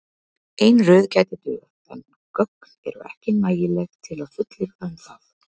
Ein röð gæti dugað en gögn eru ekki nægileg til að fullyrða um það.